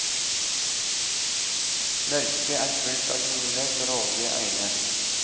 Mørket er fullt av gule, grådige øyne.